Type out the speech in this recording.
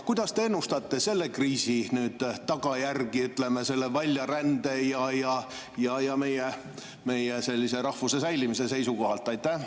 Kuidas te ennustate selle kriisi tagajärgi väljarände ja meie rahvuse säilimise seisukohalt?